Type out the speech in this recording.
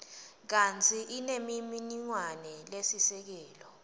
kantsi inemininingwane lesisekelo